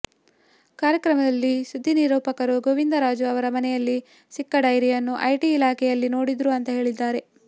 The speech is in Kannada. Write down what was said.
ಕಾರ್ಯಕ್ರಮದಲ್ಲಿ ಸುದ್ದಿ ನಿರೂಪಕರು ಗೋವಿಂದರಾಜು ಅವರ ಮನೆಯಲ್ಲಿ ಸಿಕ್ಕ ಡೈರಿಯನ್ನು ಐಟಿ ಇಲಾಖೆಯಲ್ಲಿ ನೋಡಿದ್ರು ಅಂತಾ ಹೇಳಿದ್ದಾರೆ